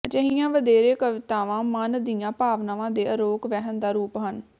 ਅਜਿਹੀਆਂ ਵਧੇਰੇ ਕਵਿਤਾਵਾਂ ਮਨ ਦੀਆਂ ਭਾਵਨਾਵਾਂ ਦੇ ਅਰੋਕ ਵਹਿਣ ਦਾ ਰੂਪ ਹਨ